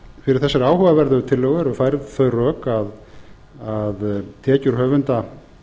fyrir þessari áhugaverðu tillögu eru færð þau rök að tekjur höfunda